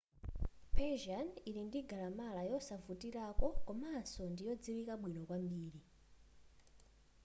persian ili ndi galamala yosavutilako komanso ndi yodziwika bwino kwambiri